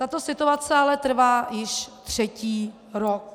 Tato situace ale trvá již třetí rok.